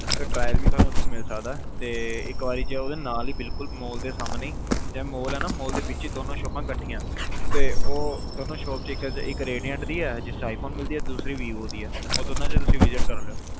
trial ਤੁਹਾਨੂੰ ਉਥੋਂ ਮਿਲ ਸਕਦਾ ਤੇ ਇਕ ਵਾਰੀ ਚਲਜੋ ਤੇ ਨਾਲ ਹੀ ਬਿਲਕੁਲ ਮਾਲ ਦੇ ਸਾਹਮਣੇ ਜਿਹੜਾ ਮਾਲ ਆ ਨਾ ਮਾਲ ਦੇ ਵਿਚ ਈ ਦੋਨੋ ਸ਼ੋਪਾ ਇਕੱਠੀਆਂ ਤੇ ਉਹ ਦੋਨੋ ਸ਼ੋਪ ਇਕ ਰੇਡੈਂਟ ਆ ਦੀ ਦੂਸਰੀ vivo ਆ ਦੀ ਦੋਨੋ ਚ ਤੁਸੀਂ visit ਕਰ ਲੀਓ